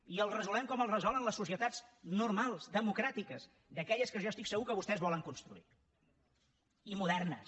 i el resolem com el resolen les societats normals democràtiques d’aquelles que jo estic segur que vostès volen construir i modernes